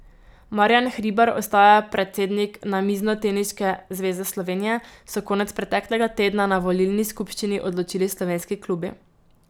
Marjan Hribar ostaja predsednik Namiznoteniške zveze Slovenije, so konec preteklega tedna na volilni skupščini odločili slovenski klubi.